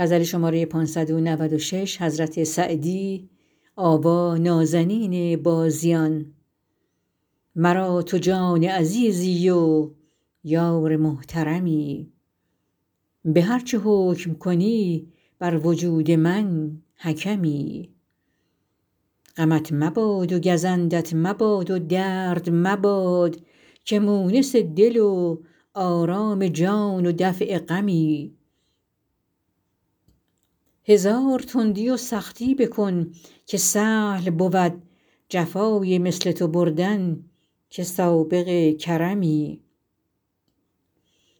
مرا تو جان عزیزی و یار محترمی به هر چه حکم کنی بر وجود من حکمی غمت مباد و گزندت مباد و درد مباد که مونس دل و آرام جان و دفع غمی هزار تندی و سختی بکن که سهل بود جفای مثل تو بردن که سابق کرمی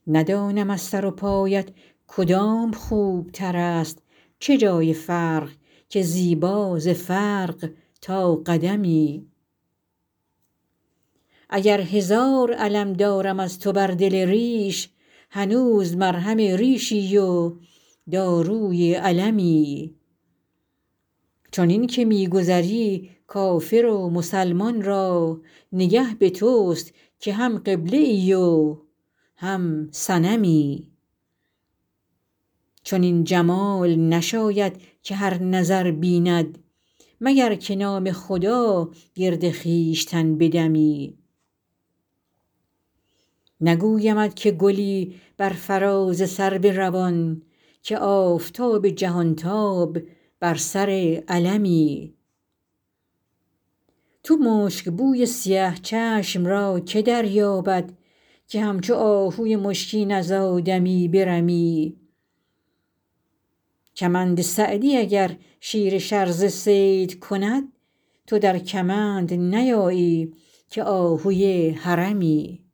ندانم از سر و پایت کدام خوبتر است چه جای فرق که زیبا ز فرق تا قدمی اگر هزار الم دارم از تو بر دل ریش هنوز مرهم ریشی و داروی المی چنین که می گذری کافر و مسلمان را نگه به توست که هم قبله ای و هم صنمی چنین جمال نشاید که هر نظر بیند مگر که نام خدا گرد خویشتن بدمی نگویمت که گلی بر فراز سرو روان که آفتاب جهانتاب بر سر علمی تو مشکبوی سیه چشم را که دریابد که همچو آهوی مشکین از آدمی برمی کمند سعدی اگر شیر شرزه صید کند تو در کمند نیایی که آهوی حرمی